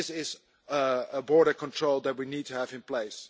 This is a border control that we need to have in place.